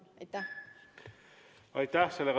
Aitäh!